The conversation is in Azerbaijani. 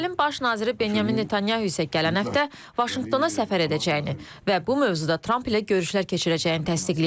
İsrailin Baş naziri Benyamin Netanyahu isə gələn həftə Vaşinqtona səfər edəcəyini və bu mövzuda Tramp ilə görüşlər keçirəcəyini təsdiqləyib.